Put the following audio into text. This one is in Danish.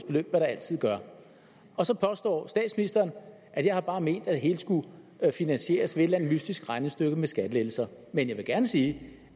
hvad der altid gør og så påstår statsministeren at jeg bare har ment at det hele skulle finansieres eller andet mystisk regnestykke med skattelettelser men jeg vil gerne sige